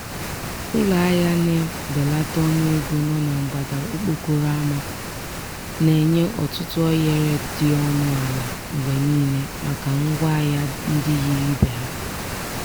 ụlọ ahịa na-ebelata ọnụ ego nọ na mgbada okporo ama a na-enye ọtụtụ ohere dị ọnụ ala mgbe niile maka ngwa ahịa ndị yiri ibe ha.